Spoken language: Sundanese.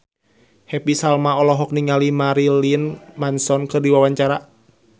Happy Salma olohok ningali Marilyn Manson keur diwawancara